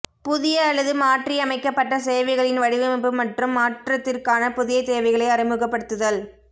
புதிய அல்லது மாற்றியமைக்கப்பட்ட சேவைகளின் வடிவமைப்பு மற்றும் மாற்றத்திற்கான புதிய தேவைகளை அறிமுகப்படுத்துதல்